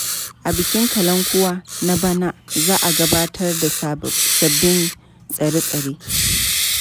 A bikin kalankuwa na bana za a gabatar da sabbin tsare-tsare.